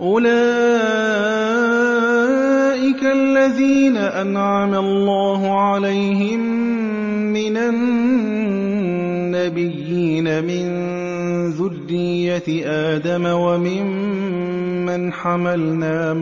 أُولَٰئِكَ الَّذِينَ أَنْعَمَ اللَّهُ عَلَيْهِم مِّنَ النَّبِيِّينَ مِن ذُرِّيَّةِ آدَمَ وَمِمَّنْ حَمَلْنَا